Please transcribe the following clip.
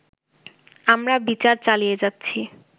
আমরা বিচার চালিয়ে যাচ্ছি